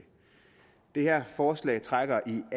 det her forslag trækker